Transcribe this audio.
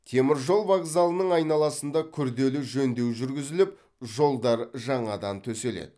теміржол вокзалының айналасында күрделі жөндеу жүрігізіліп жолдар жаңадан төселеді